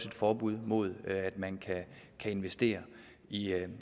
et forbud mod at man kan investere i